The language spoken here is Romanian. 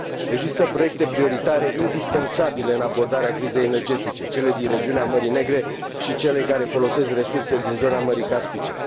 Există proiecte prioritare indispensabile pentru abordarea crizei energetice cele din regiunea Mării Negre și cele care folosesc resurse din zona Mării Caspice.